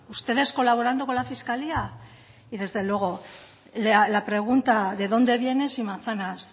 ustedes colaborando con la fiscalía y desde luego la pregunta de dónde vienes y manzanas